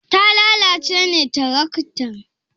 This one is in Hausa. Ta lalace ne tiraktan?